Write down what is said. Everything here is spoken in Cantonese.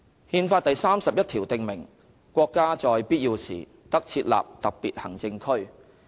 "《憲法》第三十一條訂明："國家在必要時得設立特別行政區。